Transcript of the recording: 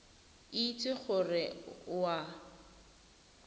itse gore ga o a